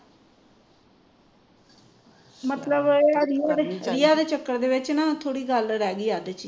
ਮਤਲਬ ਇਹ ਵਾਲੀ ਰੀਆ ਦੇ ਚੱਕਰ ਵਿੱਚ ਨਾ ਥੋੜੀ ਗੱਲ ਹੀ ਰਹਿ ਗਈ ਅੱਧ ਚ ਹੀ